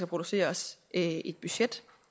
produceres et budget